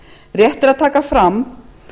rétt er að taka fram